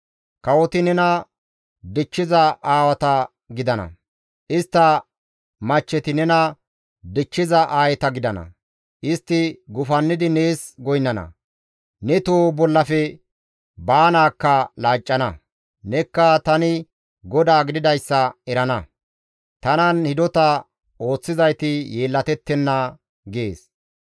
Kawoti nena dichchiza aawata gidana; istta machcheti nena dichchiza aayeta gidana; istti gufannidi nees goynnana; ne toho bollafe baanaakka laaccana; nekka tani GODAA gididayssa erana; tanan hidota ooththizayti yeellatettenna» gees.